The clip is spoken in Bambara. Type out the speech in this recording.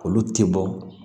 Olu tɛ bɔ